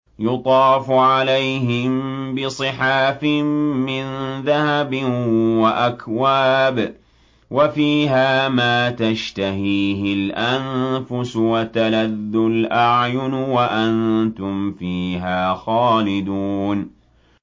يُطَافُ عَلَيْهِم بِصِحَافٍ مِّن ذَهَبٍ وَأَكْوَابٍ ۖ وَفِيهَا مَا تَشْتَهِيهِ الْأَنفُسُ وَتَلَذُّ الْأَعْيُنُ ۖ وَأَنتُمْ فِيهَا خَالِدُونَ